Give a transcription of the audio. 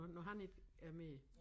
Når når han ikke er mere